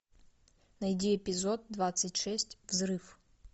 найди эпизод двадцать шесть взрыв